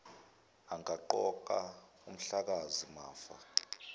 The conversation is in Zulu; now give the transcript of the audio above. angaqoka umhlakazi mafa